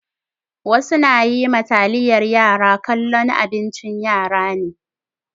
Wasu na yi ma taliyar yara kallon abincin yara ne.